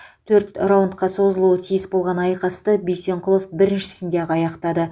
төрт раундқа созылуы тиіс болған айқасты бисенқұлов біріншісінде ақ аяқтады